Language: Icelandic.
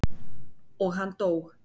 Og hann dó.